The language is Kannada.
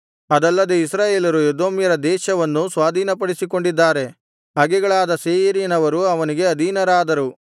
ಅದಲ್ಲದೆ ಇಸ್ರಾಯೇಲರು ಎದೋಮ್ಯರ ದೇಶವನ್ನೂ ಸ್ವಾಧೀನಪಡಿಸಿಕೊಂಡಿದ್ದಾರೆ ಹಗೆಗಳಾದ ಸೇಯೀರಿನವರು ಅವನಿಗೆ ಅಧೀನರಾದರು